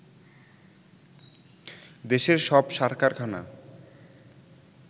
দেশের সব সার কারখানা